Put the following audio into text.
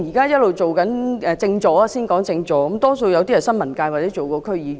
現任政治助理多數來自新聞界或曾任區議員。